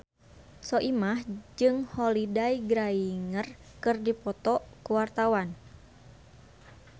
Soimah jeung Holliday Grainger keur dipoto ku wartawan